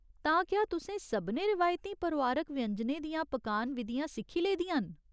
तां क्या तुसें सभनें रिवायती परोआरक व्यंजनें दियां पकान विधियां सिक्खी लेदियां न ?